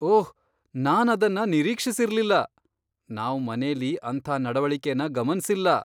ಓಹ್, ನಾನದನ್ನ ನಿರೀಕ್ಷಿಸಿರ್ಲಿಲ್ಲ. ನಾವ್ ಮನೇಲಿ ಅಂಥ ನಡವಳಿಕೆನ ಗಮನ್ಸಿಲ್ಲ.